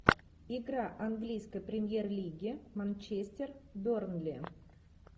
игра английской премьер лиги манчестер бернли